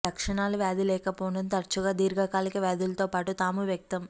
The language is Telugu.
లక్షణాలు వ్యాధి లేకపోవడంతో తరచుగా దీర్ఘకాలిక వ్యాధులతో పాటు తాము వ్యక్తం